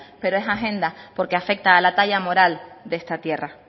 pero es agenda porque afecta a la talla moral de esta tierra